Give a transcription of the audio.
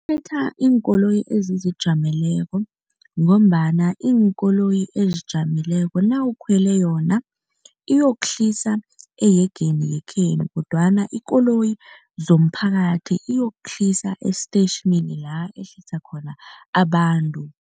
Iinkoloyi ezizijameleko ngombana iinkoloyi ezijameleko nawukhwele yona iyokuhlisa eyegeni yekhenu kodwana ikoloyi zomphakathi iyokuhlisa esiteyitjhini la ihlisa khona abantu.